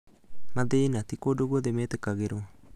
Mathĩna: Ti kũndũ guothe metĩkagĩrũo.